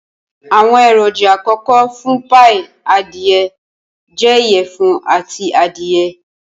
Awọn eroja akọkọ fun paii adie jẹ iyẹfun ati adiye.